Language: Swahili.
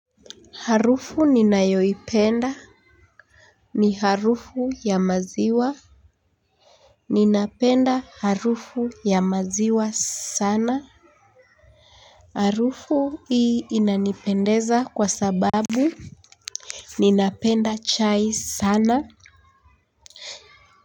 Harufu ninayoipenda. Ni harufu ya maziwa. Ninapenda harufu ya maziwa sana. Harufu hii inanipendeza kwa sababu ninapenda chai sana.